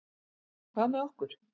Hvað með okkur?